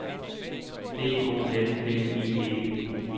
B O N N I E